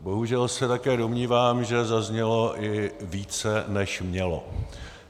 Bohužel se také domnívám, že zaznělo i více, než mělo.